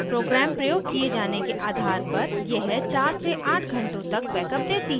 program प्रयोग किये जाने के आधार पर यह 4 से 8 घंटों तक बैकअप देती है